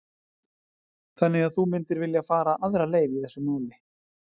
Þannig að þú myndir vilja fara aðra leið í þessu máli?